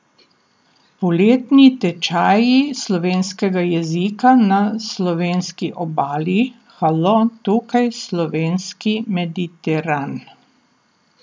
Poletni tečaji slovenskega jezika na Slovenski obali Halo, tukaj slovenski Mediteran!